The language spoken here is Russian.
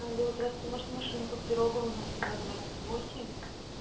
алло здравствуйте можно машинку в пирогово мостова двадцать восемь